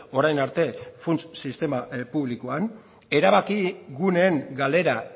orain arte funts sistema publikoan erabaki guneen galera